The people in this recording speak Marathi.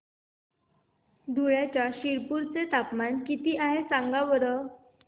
धुळ्याच्या शिरपूर चे तापमान किता आहे सांगा बरं